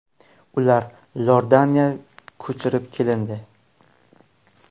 Ular Iordaniya ko‘chirib kelindi.